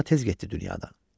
Nina tez getdi dünyadan.